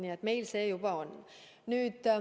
Nii et meil see juba on.